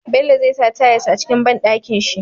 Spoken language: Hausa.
Bello zai sa tayas a cikin banɗakin shi